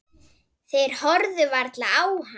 Þeir horfðu varla á hann.